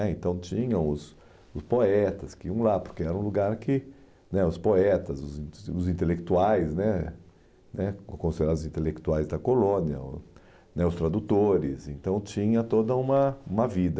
É Então tinham os os poetas que iam lá, porque era um lugar que né os poetas, os os intelectuais né né considerados intelectuais da colônia né os tradutores, então tinha toda uma uma vida.